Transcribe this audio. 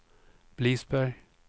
Blidsberg